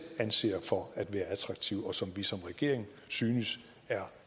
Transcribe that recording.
anser dem for at være attraktive og som vi som regeringen synes er